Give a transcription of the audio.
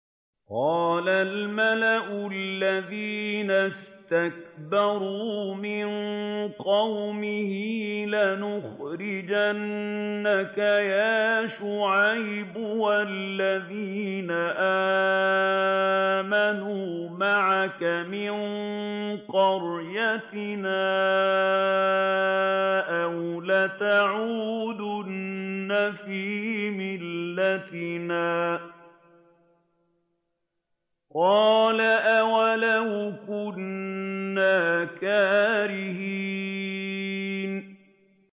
۞ قَالَ الْمَلَأُ الَّذِينَ اسْتَكْبَرُوا مِن قَوْمِهِ لَنُخْرِجَنَّكَ يَا شُعَيْبُ وَالَّذِينَ آمَنُوا مَعَكَ مِن قَرْيَتِنَا أَوْ لَتَعُودُنَّ فِي مِلَّتِنَا ۚ قَالَ أَوَلَوْ كُنَّا كَارِهِينَ